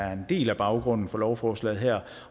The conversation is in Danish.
er en del af baggrunden for lovforslaget her